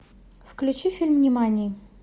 включи фильм нимани